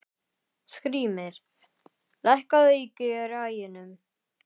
Skrýmir, lækkaðu í græjunum.